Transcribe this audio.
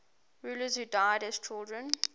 rulers who died as children